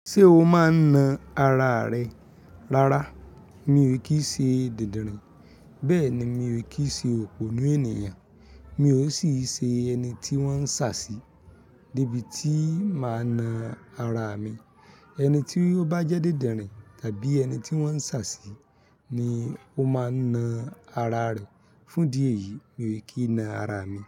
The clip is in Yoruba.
Ṣé o máa ń na ara rẹ lára? Mi ò kí ṣe didirin, bẹ́ẹ̀ ni mi ò kí ṣe òpònú ènìyàn, mi ò sì ṣe ẹni tí wọ́n ń ṣà sí. Nibiti máa na ara mi, ẹni tí ó bá jẹ́ didirin tàbí ẹni tí wọ́n ń ṣà sí ni ó máa ń na ara rẹ. Fún idí eyì mi ò kí na ara mi.